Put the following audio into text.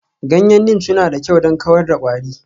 Ganyen Neem suna da kyau don kawar da kwari.